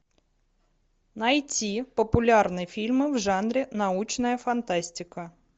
найти популярные фильмы в жанре научная фантастика